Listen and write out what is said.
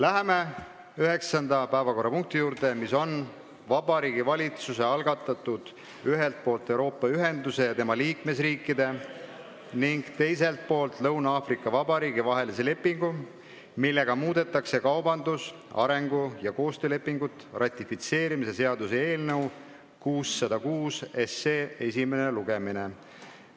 Läheme 9. päevakorrapunkti juurde, mis on Vabariigi Valitsuse algatatud "Ühelt poolt Euroopa Ühenduse ja tema liikmesriikide ning teiselt poolt Lõuna-Aafrika Vabariigi vahelise lepingu, millega muudetakse kaubandus-, arengu- ja koostöölepingut" ratifitseerimise seaduse eelnõu 606 esimene lugemine.